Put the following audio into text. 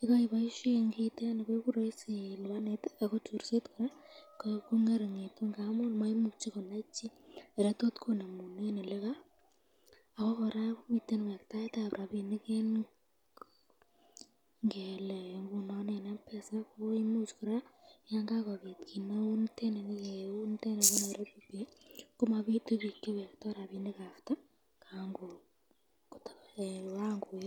yekoiboishen kiitet nii koiku roisi ilibanen ak ko chorset kora kong'eringeitu amuun moimuche konai chii elee tot konemunen, ak ko kora komiten wektaetab rabinik en yuton, ng'elee ng'unon en mpesa koimuuch kora yoon kakobit kiit neunitet neuu niieb Nairobi komobitu biik chewektoo rabishek after ko kaan koyok.